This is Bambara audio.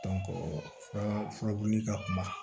furabulu ka kuma